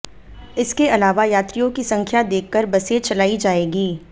इसके अलावा यात्रियों की संख्या देखकर बसें चलाई जाएंगी